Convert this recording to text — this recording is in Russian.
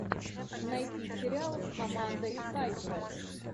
найти сериал с амандой сайфред